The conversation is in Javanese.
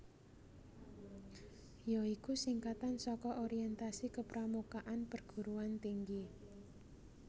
ya iku singkatan saka Orientasi Kepramukaan Perguruan Tinggi